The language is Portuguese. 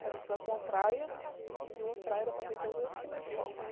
Aí a gente vai para uma praia, e de uma praia dá para ver todas as queimas de fogos.